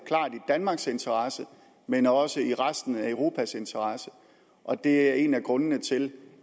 danmarks interesse men også i resten af europas interesse og det er en af grundene til